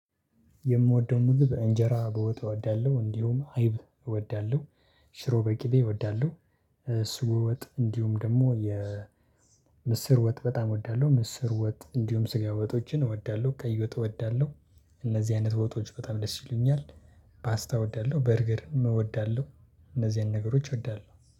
የምወደው ምግብ በእንጀራ በወጥ እወዳለሁ እንዲሁም አይብ እወዳለሁ ሽሮ በቂቤ እወዳለሁ በሶ ወጥ እንዲሁም ደግሞ የ ምስር ወጥ በጣም እወዳለሁ። ምስር ወጥ እንዲሁም ስጋ ወጦችን እወዳለሁ ቀይ ወጥ እወዳለሁ። እነዚህ አይነት ወጦች በጣም ደስ ይሉኛል። ፓስታ እወዳለሁ በርገርም እወዳለሁ። እነዚህን ነገሮች እወዳለሁ